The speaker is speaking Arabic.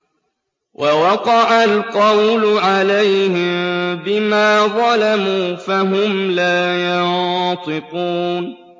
وَوَقَعَ الْقَوْلُ عَلَيْهِم بِمَا ظَلَمُوا فَهُمْ لَا يَنطِقُونَ